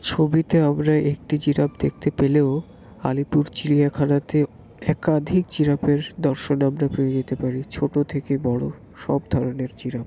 ছবিতে আমরা একটা জিরাফ দেখতে পেলেও আলিপুর চিড়িয়াখানাতে একাধিক জিরাফের দর্শন পেয়ে যেতে পারি ছোট থেকে বড়ো সব ধরণের জিরাফ।